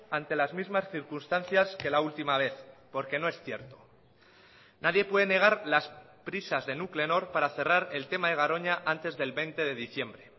ante las mismas circunstancias que la última vez porque no es cierto nadie puede negar las prisas de nuclenor para cerrar el tema de garoña antes del veinte de diciembre